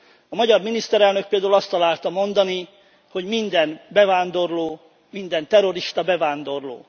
A magyar miniszterelnök például azt találta mondani, hogy minden bevándorló, minden terrorista bevándorló.